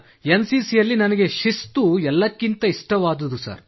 N C C ಯಲ್ಲಿ ನನಗೆ ಶಿಸ್ತು ಎಲ್ಲಕ್ಕಿಂತ ಇಷ್ಟವಾದುದು ಸರ್